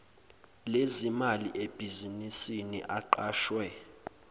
lezimali ebhizinisini aqashwe